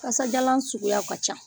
Kasajanlan suguya ka can